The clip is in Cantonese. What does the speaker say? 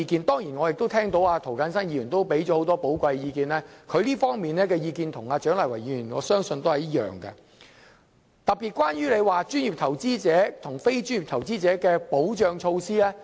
當然我也聽到涂謹申議員給予很多寶貴意見，他這方面的意見與蔣麗芸議員的意見相信是一樣的，特別是關於專業投資者和非專業投資者的保障措施。